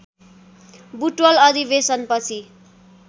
बुटवल अधिवेशन पछि